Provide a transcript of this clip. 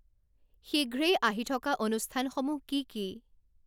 শীঘ্রেই আহি থকা অনুষ্ঠানসমূহ কি কি